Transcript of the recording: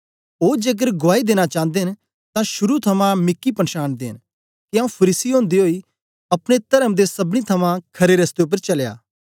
ओ जेकर गुआई देना चांदे न तां शुरू थमां मिकी पनछानदे न के आंऊँ फरीसी ओदे ओई अपने तर्म दे सबनी थमां खरे रस्ते उपर चलया